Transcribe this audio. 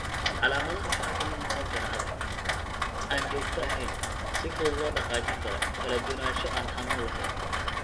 Calaamadaha waxaa ka mid noqon kara adag, aan joogto ahayn, si fudud loo dhaqaajin karo, kala duwanaansho, naaso aan xanuun lahayn.